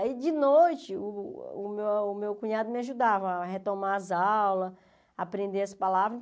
Aí, de noite, o o meu o meu cunhado me ajudava a retomar as aulas, aprender as palavras.